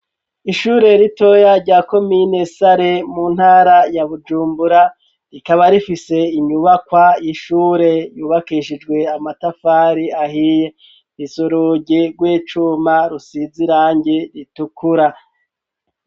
Ishure ritoya rya komine sare mu ntara ya bujumbura rikaba rifise inyubakwa y'ishure yubakishijwe amatafari ahiye urugi rw'icuma rusizi irangi ritukura.